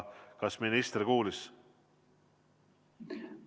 Kas minister kuulis?